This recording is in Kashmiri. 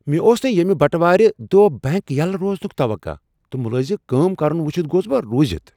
مےٚ اوس نہٕ ییمِہ بٹوارِ دۄہ بینک یلہٕ روزنک توقع تہٕ ملٲزم کٲم کران وچھتھ گوس بہ رُوزِتھ۔